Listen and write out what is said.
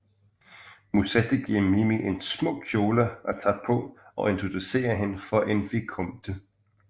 Musetta giver Mimi en smuk kjole at tage på og introducerer hende for en vicomte